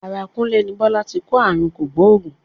Ara Kúnlé ní Bọ́lá ti kó ààrùn kògbóògùn.